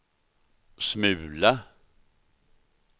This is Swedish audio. smula